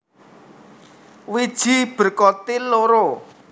Wiji berkotil loro